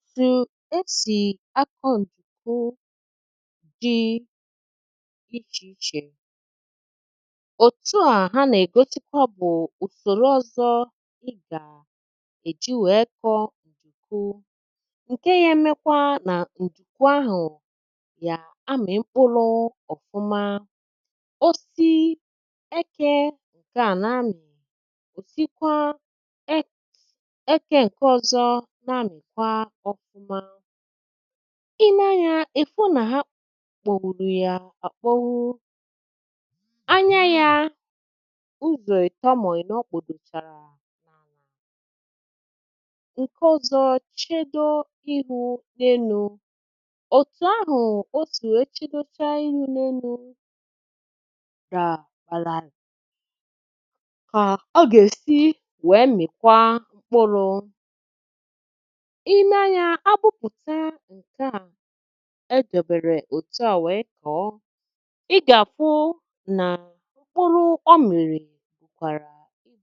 Otù esì akọ̇ ǹdùku dị̇ ichè ichè, òtù à ha nà-ègosikwa bụ̀ ùsòrò ọzọ, ị gà èji wee kọ̇ ǹdùku ǹke ya emekwa nà ǹdùku ahụ̀ yà amị̀ mkpụrụ ọ̀fụma, osì ekė ǹkè à n’ami, òsikwa ekė ǹkè ọzọ na-amị kwa ọfụma. Ị nee anyȧ, ị̀ fụ nà ha kpọ̀wụrụ̀ ya akpọwu, anya yȧ ụzọ̀ ị̀tọ mo inọ̀ kpudochara ala, nke ọzọ nchedo ihu n’elu, otu ahụ osi wee chedochaa ihu̇ n’enu̇ ka ọ gà-èsi wèe mị̀kwa mkpụrụ, i nee amya abụ̀pụ̀ta ǹke à e debèrè òtu à wèe koọ, i gà-àfụ nà mkpụrụ ọmị̀rị̀ rikwàrà nne.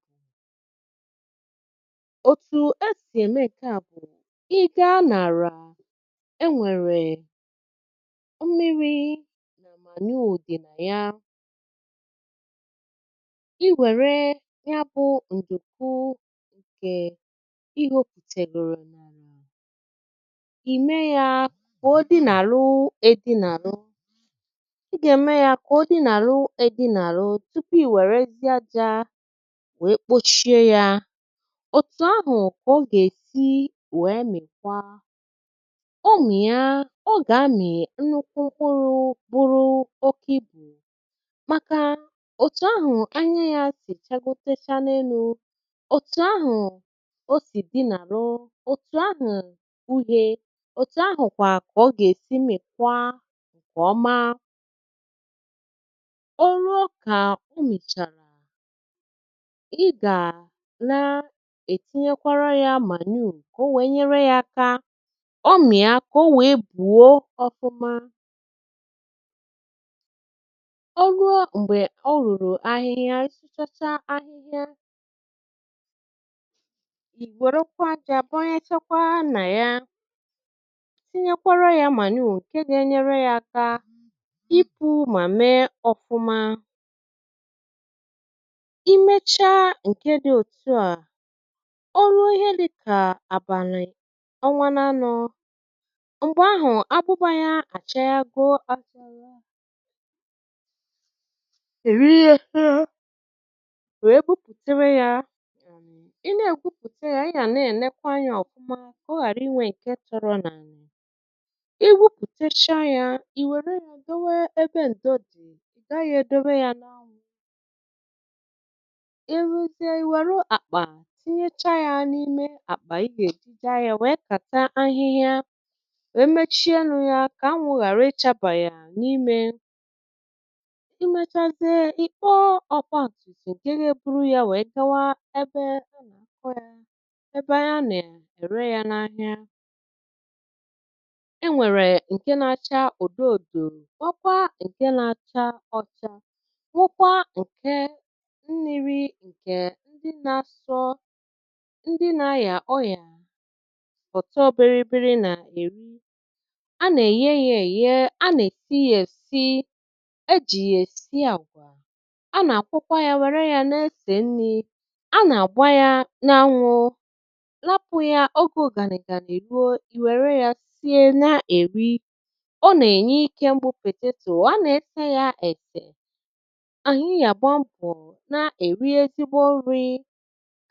Otù esì ème nke à bụ̀ ị gȧa n'àrà, e nwèrè mmiri̇ mà manure dị̀ nà ya i wère ya bụ̀ ǹdùku ǹkè ihe ihoputègòrò ime yȧ kà ọ dị nàru edi̇nàru ị gà-ème yȧ kà ọ dị nàru edi̇nàru tupu i wèrezịe ȧjȧ wee kpochie yȧ, òtù ahụ̀ kà ọ gà-èsi wee mikwa, ọ mìa, ọ gà-amị nnukwu mkpụrụ bụrụ òkè ibù màkà òtù ahụ̀ anya yȧ sì chagotecha n’enu̇, òtù ahụ̀ o sì dinàru, òtù ahụ̀ uhe, òtù ahụ̀kwà kà ọ gà-èsi mikwa ǹkè ọma. O rụọ kà ọ mìchàrà, ị gà na-ètinyekwara ya manuu ka ọ nwèe nyere ya aka, ọ mìá kȧ ọ nwèe bùo ọfụma, ọ ruo m̀gbè ọ̀ rùrù ahịhịa, ị suchacha ahịhịa, ị wèrekwa àjà bọ̀nyechakwa na ya, tinyekwara yȧ mànuù ǹke gȧ-enyere yȧ aka ikpu̇ mà mee ọfụma, i mechaa ǹke dị̇ òtu à, ọrụ ihe dị̇ kà àbàlị̀ ọnwa n’anọ̇. m̀gbè ahụ̀ agbụbȧ yȧ àchago achagha èri aka èwe gwupùtewe yȧ, ị na-ègwupùte yȧ, ị yà nà-ènekwa anyȧ ọ̀fụma ka ọ ghara inwe fọrọ n'ala igwuputecha yȧ, i wère yà dewe ebe ǹdo dị̀, ị̀ gaghị̇ èdowe yȧ n’anwụ̇, i ruzie i wère àkpà tinyechaa yȧ n’ime àkpà ị gà-èji jee ahiȧ wèe kata ahịhịa wee mechie onụ̇ yȧ kà anwụ̇ ghàra ịchabà yȧ n’imė, i mechazie ị kpọọ ọ̀gbaǹtumtum ǹkè ga-eburu yȧ wèe gawa ebe ebè ana-ere ya, ebe ana-ere ya n'ahia, enwèrè ǹke na-acha odọòdò nwekwaa ǹke na-acha ọ̀cha nwekwaa ǹke mmi̇ri ǹkè ndị na-asọ ndị na-àyà ọyà ọ̀tọbiri biri nà-eri, a nà-èye yȧ èye, a nà-èsi yȧ èsi, ejì yà èsi àgwà, a nà-àkwokwa yȧ wère yȧ na-esè nni̇, a nà-àgba yȧ na anwụ̇ rapa oge ugani ga ị ruo, ị were ya sie na-eri, ọ nà-ènye ikė mbù pètetù, a nà-ese yȧ èsè, anyị yà gbaa mbọ̀ na-èri ezìgbọ nri̇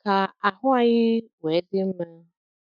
kà àhụ anyị̇ nwė dị mmȧ.